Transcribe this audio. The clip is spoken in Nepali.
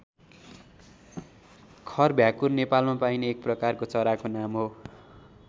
खर भ्याकुर नेपालमा पाइने एक प्रकारको चराको नाम हो।